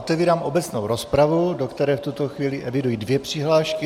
Otevírám obecnou rozpravu, do které v tuto chvíli eviduji dvě přihlášky.